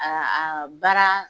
A a a baara